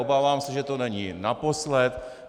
Obávám se, že to není naposledy.